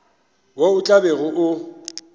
wo o tla bego o